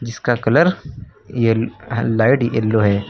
इसका कलर ये light yellow है।